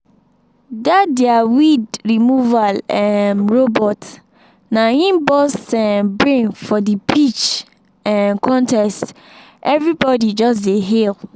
that their weed-removal um robot na im burst um brain for the pitch um contest everybody just dey hail